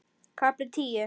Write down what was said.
KAFLI TÍU